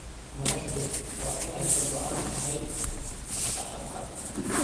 Madaxdu waa in ay ka go�an tahay shacabka.